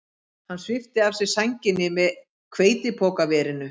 Hann svipti af sér sænginni með hveitipokaverinu